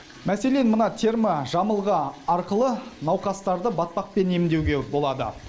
мәселен терможамылғы арқылы науқастарды батпақпен емдеуге болады